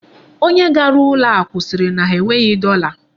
Onye gara ụlọ akụ sịrị na ha enweghị dọla.